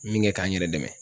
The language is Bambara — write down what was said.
Min kɛ k'an n yɛrɛ dɛmɛ.